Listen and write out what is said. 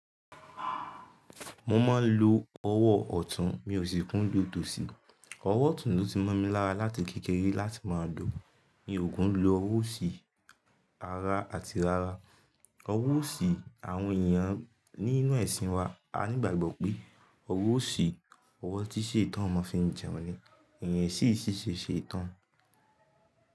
Mo ma ń lo ọwọ́ ọ̀tún, mi ò sí kún dun tòsí. Ọwọ́ otùn ló ti mọ́ mi lára láti kékeré láti má a lọ. Mi ò kùn lo ọwọ́ òsì ara àti rara. Ọwọ́ òsì àwọn ènìyàn nínú ẹ̀sìn wa á ní ìgbàgbọ́ pé ọwọ́ òsì, ọwọ́ tí ṣètàn mo fì n jẹun ni. Iyin ṣíṣe ṣe ètàn.